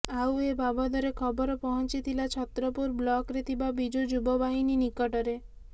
ଆଉ ଏବାବଦରେ ଖବର ପହଂଚିଥିଲା ଛତ୍ରପୁର ବ୍ଲକରେ ଥିବା ବିଜୁ ଯୁବବାହିନୀ ନିକଟରେ